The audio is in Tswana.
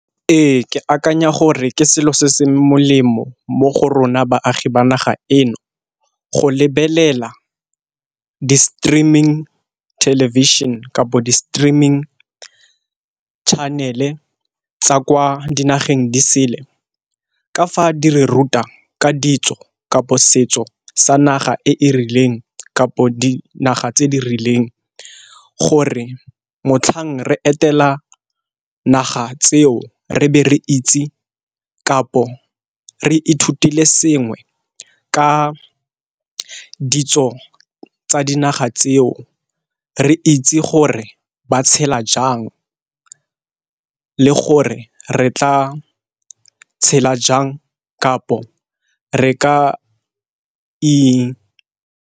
Ee, ke akanya gore ke selo se se molemo mo go rona baagi ba naga eno, go lebelela di-streaming television kapo di-streaming channel-e tsa kwa dinageng disele. Ka fa di re ruta ka ditso kapo setso sa naga e e rileng kapo dinaga tse di rileng gore motlhang re etela naga tseo re be re itse kapo re ithutile sengwe ka ditso tsa dinaga tseo re itse gore ba tshela jang le gore re tla tshela jang kapo re ka i.